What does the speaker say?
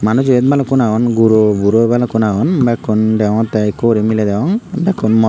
manus iyot balukkun agon guro buro balukkun agon bekkun deyongotey ikkori miley deyong bekkun morot.